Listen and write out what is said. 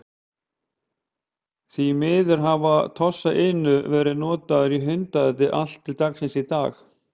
Því miður hafa Tosa Inu verið notaðir í hundaati allt til dagsins í dag.